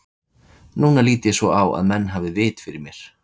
Núna lít ég svo á að menn hafi haft vit fyrir mér.